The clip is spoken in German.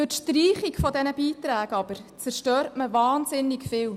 Durch die Streichung dieser Beiträge zerstört man wahnsinnig viel.